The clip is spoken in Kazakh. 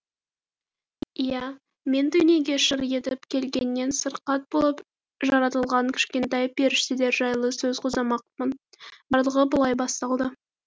иә мен дүниеге шыр етіп келгеннен сырқат болып жаратылған кішкентай періштелер жайлы сөз қозғамақпын барлығы былай басталды